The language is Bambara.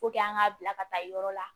an ŋ'a bila ka taa yɔrɔ la